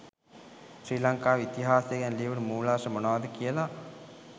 ශ්‍රී ලංකාවේ ඉතිහාසය ගැන ලියවුනු මුලාශ්‍ර මොනවද කියල.